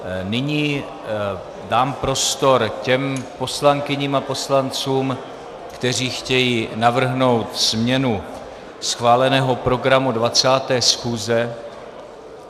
Nyní dám prostor těm poslankyním a poslancům, kteří chtějí navrhnout změnu schváleného programu 20. schůze.